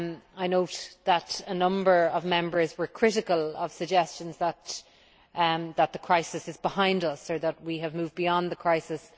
I note that a number of Members were critical of suggestions that the crisis is behind us or that we have moved beyond the crisis.